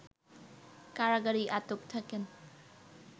কারাগারেই আটক থাকেন